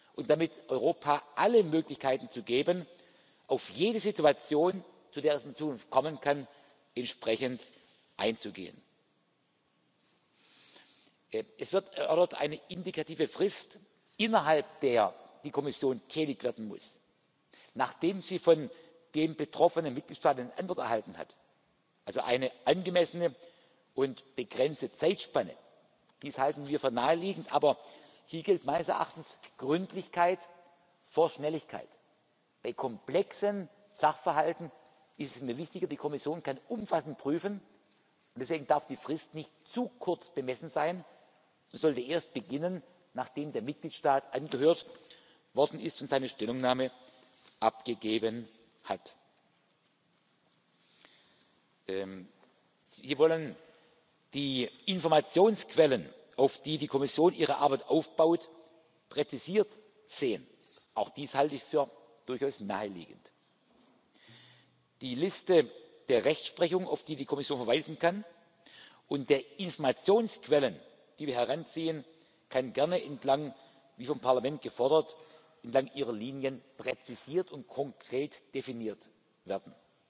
Fällen zu ermöglichen und damit Europa alle Möglichkeiten zu geben, auf jede Situation, zu der es in Zukunft kommen kann, entsprechend einzugehen. Es wird eine indikative Frist erörtert, innerhalb der die Kommission tätig werden muss, nachdem sie von dem betroffenen Mitgliedstaat eine Antwort erhalten hat, also eine angemessene und begrenzte Zeitspanne. Dies halten wir für naheliegend, aber hier gilt meines Erachtens Gründlichkeit vor Schnelligkeit. Bei komplexen Sachverhalten ist es mir wichtiger, dass die Kommission umfassend prüfen kann, und deswegen darf die Frist nicht zu kurz bemessen sein, sondern sollte erst beginnen, nachdem der Mitgliedstaat angehört worden ist und seine Stellungnahme abgegeben hat. Sie wollen die Informationsquellen, auf denen die Kommission ihre Arbeit aufbaut, präzisiert sehen. Auch dies halte ich für durchaus naheliegend. Die Liste der Rechtsprechung, auf die die Kommission verweisen kann, und der Informationsquellen, die wir heranziehen, kann gerne wie vom Parlament gefordert entlang Ihrer Linien präzisiert